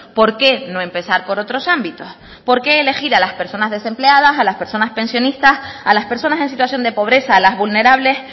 por qué no empezar por otros ámbitos por qué elegir a las personas desempleadas a las personas pensionistas a las personas en situación de pobreza a las vulnerables